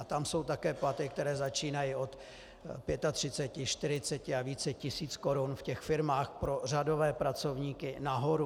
A tam jsou také platy, které začínají od 35, 40 a více tisíc korun v těch firmách pro řadové pracovníky nahoru.